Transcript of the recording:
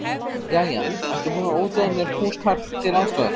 Jæja, ertu búin að útvega mér húskarl til aðstoðar?